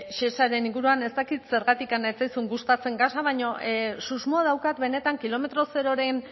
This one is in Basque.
shesaren inguruan ez dakit zergatik ez zaizun gustatzen gasa baina susmoa daukat benetan kilometro zeroren